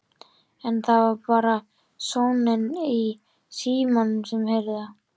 En það var bara sónninn í símanum sem heyrði það.